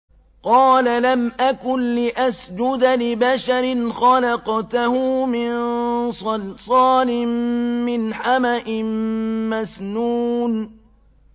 قَالَ لَمْ أَكُن لِّأَسْجُدَ لِبَشَرٍ خَلَقْتَهُ مِن صَلْصَالٍ مِّنْ حَمَإٍ مَّسْنُونٍ